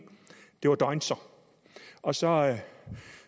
det var deuntzer og så